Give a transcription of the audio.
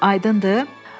Aydındır?